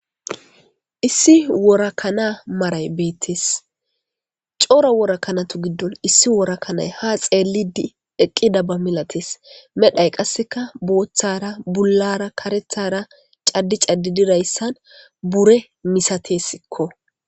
Issi worakanaa maray beettes cora worakanatu giddon issi worakanay ha xeelidi eqqida ba milates medhay qasseka booththara bullara karethara caddi caddi dirayssan bure misatesikko.